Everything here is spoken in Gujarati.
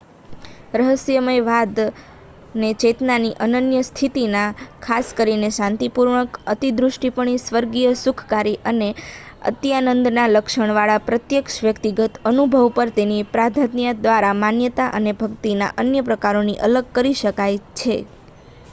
રહસ્યવાદને ચેતનાની અનન્ય સ્થિતિના ખાસ કરીને શાંતિપૂર્ણ અંતર્દૃષ્ટિપૂર્ણ સ્વર્ગીય સુખકારી અથવા અત્યાનંદના લક્ષણવાળા પ્રત્યક્ષ વ્યક્તિગત અનુભવ પર તેની પ્રાધાન્યતા દ્વારા માન્યતાના અને ભક્તિના અન્ય પ્રકારોથી અલગ કરી શકાય છે